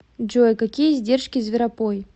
джой какие издержки зверопой